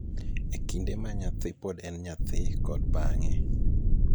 e kinde ma nyathi pod en nyathi kod bang�e.